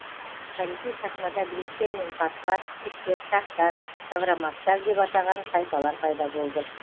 тарихи сахнада гректер мен парсылар скифтер сақтар савроматтар деп атаған тайпалар пайда болды